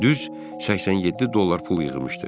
Düz 87 dollar pul yığmışdı.